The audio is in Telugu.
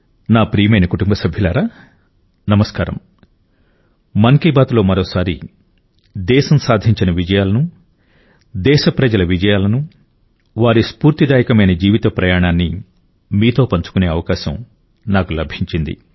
నా ప్రియమైన కుటుంబ సభ్యులారా నమస్కారం మన్ కీ బాత్ మరొక భాగంలో దేశం సాధించిన విజయాలను దేశప్రజల విజయాలను వారి స్ఫూర్తిదాయకమైన జీవిత ప్రయాణాన్ని మీతో పంచుకునే అవకాశం నాకు లభించింది